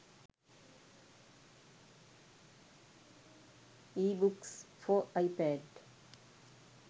ebooks for ipad